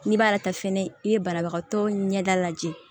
N'i b'a ta fɛnɛ i ye banabagatɔ ɲɛda lajɛ